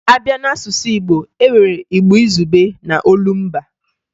A bịa n'asụsụ Igbo, e nwere Igbo izugbe na olumba